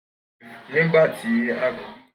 nigbati a